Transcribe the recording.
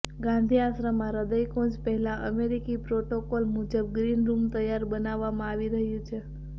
ગાંધીઆશ્રમમાં હૃદયકુંજ પહેલા અમેરિકી પ્રોટોકોલ મુજબ ગ્રીન રૂમ તૈયાર બનાવવામાં આવી રહ્યું છે